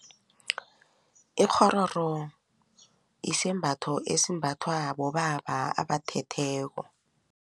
Ikghororo isembatho esimbathwa bobaba abathetheko.